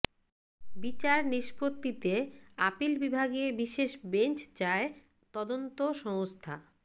বিচার নিষ্পত্তিতে আপিল বিভাগে বিশেষ বেঞ্চ চায় তদন্ত সংস্থা